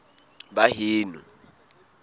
baheno